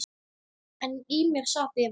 En í mér sat efinn.